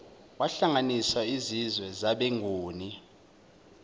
wahlanganisa izizwe zabenguni